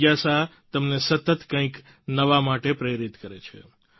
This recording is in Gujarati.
જિજ્ઞાસા તમને સતત કંઈક નવા માટે પ્રેરિત કરે છે